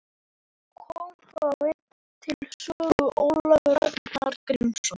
Kom þá enn til sögu Ólafur Ragnar Grímsson.